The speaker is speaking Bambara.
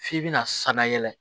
F'i bɛna sannayɛlɛ